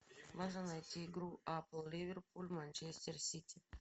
можно найти игру апл ливерпуль манчестер сити